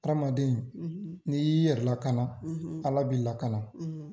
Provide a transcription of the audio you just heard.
Aramaden ni y'i yɛrɛ lakana ALA b'i lakana.